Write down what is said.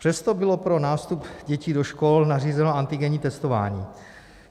Přesto bylo pro nástup dětí do škol nařízeno antigenní testování.